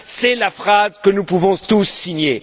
C'est la phrase que nous pouvons tous signer.